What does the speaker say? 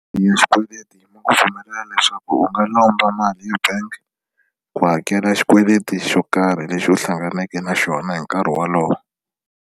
Ya xikweleti ma ku pfumelela leswaku u nga lomba mali ebank ku hakela xikweleti xo karhi lexi u hlanganaka na xona hi nkarhi wolowo.